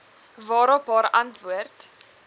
waarop haar antwoord